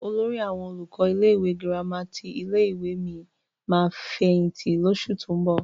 Olórí àwọn olùkọ́ ilé-ìwé gírámà ti ilé-ìwé mi máa fẹ̀yìntì lóṣù tó ń bọ̀.